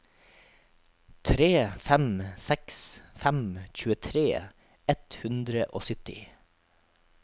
tre fem seks fem tjuetre ett hundre og sytti